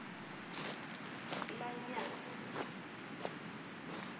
lanyatsi